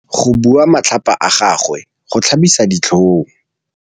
Go bua matlhapa ga gagwe go tlhabisa ditlhong.